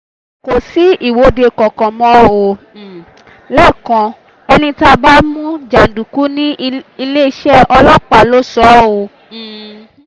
kò sí ìwọ́de kankan mọ́ um lẹ́kọ̀ọ́ ẹni tá a bá mú jàǹdùkú ní iléeṣẹ́ ọlọ́pàá ló sọ ọ́ um